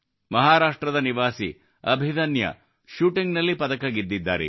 ಮಹಾರಾಷ್ಟ್ರದ ನಿವಾಸಿ ಅಭಿದನ್ಯ ಶೂಟಿಂಗ್ನಲ್ಲಿ ಪದಕ ಗೆದ್ದಿದ್ದಾರೆ